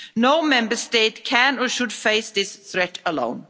No Member State can or should face this threat alone.